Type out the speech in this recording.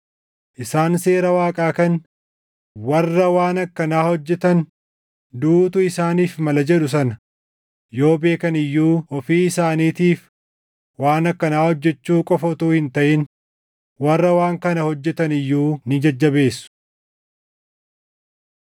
Isaan seera Waaqaa kan, “Warra waan akkanaa hojjetan duʼuutu isaaniif mala” jedhu sana yoo beekan iyyuu ofii isaaniitiif waan akkanaa hojjechuu qofa utuu hin taʼin warra waan kana hojjetan iyyuu ni jajjabeessu.